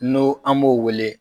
N'o an b'o wele.